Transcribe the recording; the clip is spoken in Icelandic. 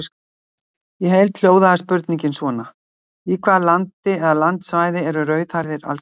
Í heild hljóðaði spurningin svona: Í hvaða landi eða landsvæði eru rauðhærðir algengastir?